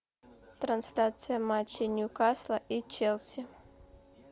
трансляция матча ньюкасла и челси